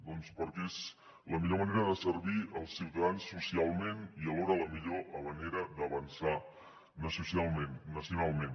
doncs perquè és la millor manera de servir els ciutadans socialment i alhora la millor manera d’avançar nacionalment